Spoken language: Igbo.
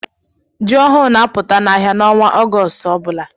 Jị ọhụụ na apụta na áhiá n'ọnwa Augoostu ọbula.